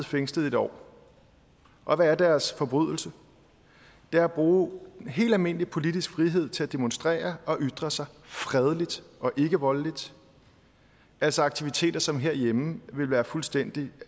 fængslet et år og hvad er deres forbrydelse det er at bruge helt almindelig politisk frihed til at demonstrere og ytre sig fredeligt og ikkevoldeligt altså aktiviteter som herhjemme ville være fuldstændig